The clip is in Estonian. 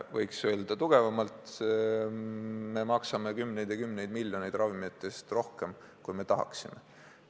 Võiks öelda ka karmimalt: me maksame kümneid ja kümneid miljoneid ravimite eest rohkem, kui tahaksime.